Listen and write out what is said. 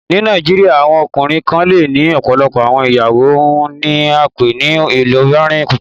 Ní Nàìjíríà, awọn ọkùnrin kàn lẹ́ ní ọ̀pọ̀lọpọ̀ awọn ìyàwó, ọ́un ní à pẹ ni "ilòbìrín púpọ̀."